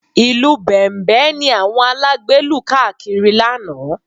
Ìlù Bẹ̀m̀bẹ̀ ni àwọn alágbe lù káàkiri lánàá